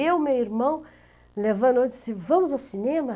Eu, meu irmão, Vamos ao cinema?